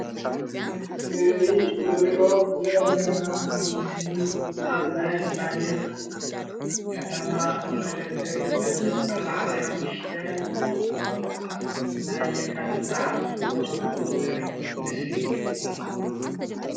እዚ እንሪኦ ዘለና ኣብ ምስሊ አብ ናይ ስታድዮም ከተማ መቀለ ዘርኢ መበል 45 ናይ የካቲት በዓል ዝክበረሉ ዘርኢ ምስሊ እዩ።